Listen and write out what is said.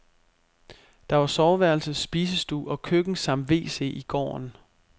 Der var soveværelse, spisestue og køkken samt wc i gården.